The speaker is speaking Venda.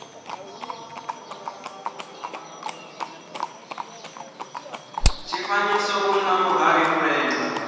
tshifanyiso u na vhuhali vhulenda